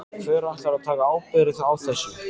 Hver ætlar að taka ábyrgð á þessu?